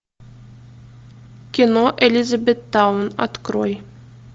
кино элизабеттаун открой